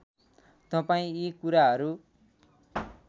तपाईँ यी कुराहरू